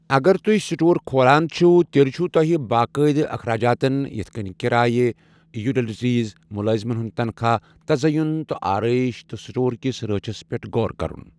اگر تُہۍ سٹور کھولان چھِو، تیٚلہِ چھِو تۄہہِ باقٲعدٕ اخراجاتَن یِتھ کٔنۍ کرایہِ، یوٹیلیٹیز، مُلٲزمَن ہُنٛد تنخاہ، تزعین و آرٲیش، تہٕ سٹورٕ کس رٲچھس پٮ۪ٹھ غور کرن۔